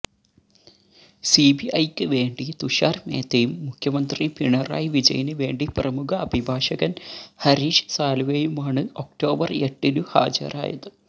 സിബിഐക്ക് വേണ്ടി തുഷാര് മേത്തയും മുഖ്യമന്ത്രി പിണറായി വിജയന് വേണ്ടി പ്രമുഖ അഭിഭാഷകന് ഹരീഷ് സാല്വെയുമാണ് ഒക്ടോബർ എട്ടിനു ഹാജരായത്